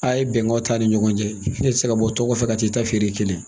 A ye bɛnkanw t'a ni ɲɔgɔn cɛ ne tɛ se ka bɔ tɔn ko fɛ ka t'i ta feere kɛmɛ